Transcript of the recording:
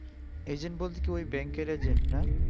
agent বলতে কি ওই bank এর agent না